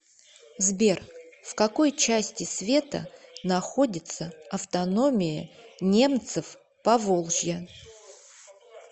сбер в какой части света находится автономия немцев поволжья